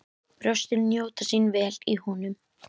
Brjóstin njóta sín vel í honum.